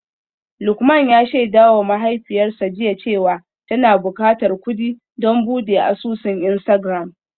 Lukman ya shaidawa mahaifiyarsa jiya cewa tana bukatar kudi don bude asusun Instagram.